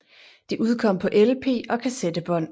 Det udkom på LP og kassettebånd